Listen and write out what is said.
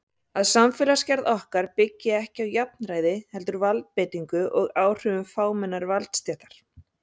Að samfélagsgerð okkar byggi ekki á jafnræði heldur valdbeitingu og áhrifum fámennrar valdastéttar.